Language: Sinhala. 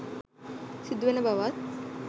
සිදු වෙන බවත්.